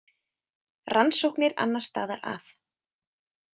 Rannsóknir annars staðar að.